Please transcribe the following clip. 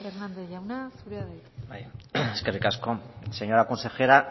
hérnandez jauna zurea da hitza eskerrik asko señora consejera